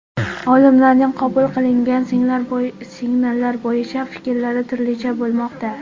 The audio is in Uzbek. Olimlarning qabul qilingan signal bo‘yicha fikrlari turlicha bo‘lmoqda.